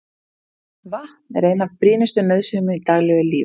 Vatn er ein af brýnustu nauðsynjum í daglegu lífi.